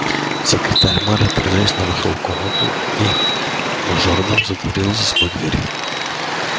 секретарь мэра торжественно вошёл в комнату и мажордом затворил за собой дверь